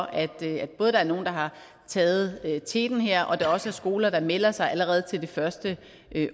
at der både er nogle der har taget teten her og at der også er skoler der melder sig allerede til det første